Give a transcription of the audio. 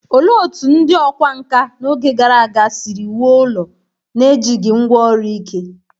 Olee otú ndị ọkwá nkà n’oge gara aga si wuo ụlọ n’ejighị ngwá ọrụ ike?